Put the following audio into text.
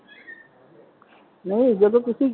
ਨਹੀਂ ਜਦੋ ਤੁਸੀ,